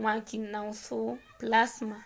mwaki na ũsũu plasma